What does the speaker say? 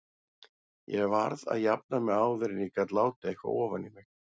Ég varð að jafna mig áður en ég gat látið eitthvað ofan í mig.